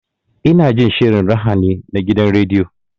Ina jin shirin raha ne na gidan rediyo.